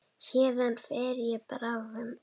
Héðan fer ég bráðum.